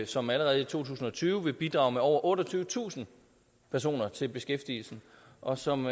som allerede i to tusind og tyve vil bidrage med over otteogtyvetusind personer til beskæftigelsen og som